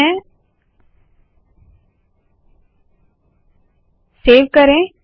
इसे सेव करे